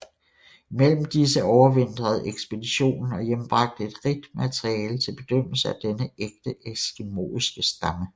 Imellem disse overvintrede ekspeditionen og hjembragte et rigt materiale til bedømmelse af denne ægte eskimoiske stamme